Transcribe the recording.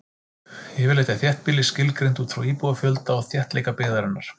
Yfirleitt er þéttbýli skilgreint út frá íbúafjölda og þéttleika byggðarinnar.